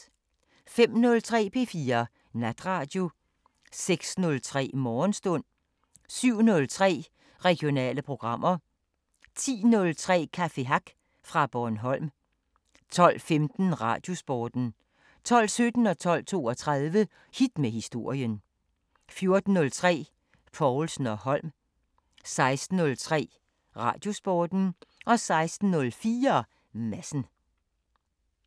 05:03: P4 Natradio 06:03: Morgenstund 07:03: Regionale programmer 10:03: Cafe Hack fra Bornholm 12:15: Radiosporten 12:17: Hit med historien 12:32: Hit med historien 14:03: Povlsen & Holm 16:03: Radiosporten 16:04: Madsen